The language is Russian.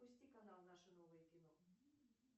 пусти канал наше новое кино